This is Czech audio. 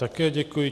Také děkuji.